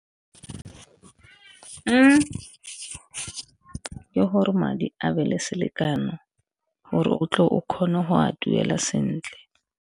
Ke gore madi a be le selekano gore o tle o kgone go a duela sentle.